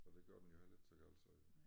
Så det gør den jo heller ikke helt så galt så jo